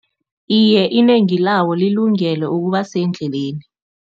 Iye, inengi lawo lilungele ukuba sendleleni.